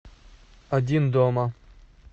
один дома